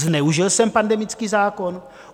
Zneužil jsem pandemický zákon?